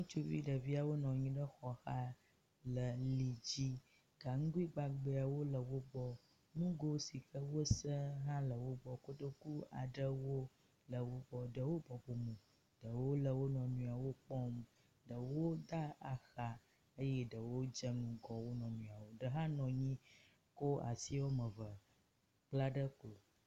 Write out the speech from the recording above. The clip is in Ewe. Ŋutsuvi ɖeviawo nɔ nyi ɖe xɔxa le li dzi, ganuguigbagbawo le wogbɔ, nugo si wosẽ hã le wogbɔ, kotoku aɖewo le wogbɔ. Ɖewo bɔbɔ mo, ɖewo le wonɔɛwo kpɔm, ɖewo da axa eye ɖewo dze ŋgɔ wonɔɛwo. Ɖe hã nɔ anyi kɔ asi woameve kpla ɖe klo.